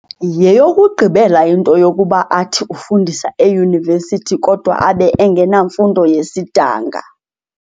Yeyokugqibela into yokuba athi ufundisa eYunivesithi kodwa abe engenamfundo yesidanga.